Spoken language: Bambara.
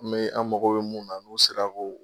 An bɛ, an mako bɛ munnu na nu sera ko.